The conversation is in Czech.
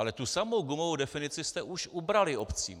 Ale tu samou gumovou definici jste už ubrali obcím.